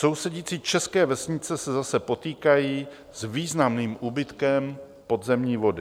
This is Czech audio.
Sousedící české vesnice se zase potýkají s významným úbytkem podzemní vody.